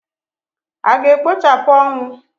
A ga-ekpochapụ ọnwụ?